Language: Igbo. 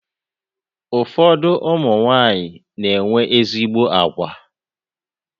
Ụfọdụ ụmụnwanyị na-enwe ezigbo agwa.